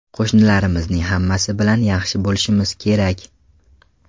Qo‘shnilarimizning hammasi bilan yaxshi bo‘lishimiz kerak.